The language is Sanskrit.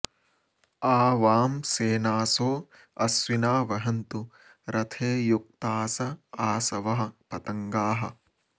आ वां श्येनासो अश्विना वहन्तु रथे युक्तास आशवः पतंगाः